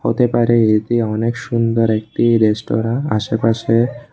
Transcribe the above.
হতে পারে এটি অনেক সুন্দর একটি রেস্টুরেন্ট আশেপাশে--